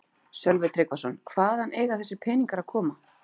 Sölvi Tryggvason: Hvaðan eiga þessir peningar að koma?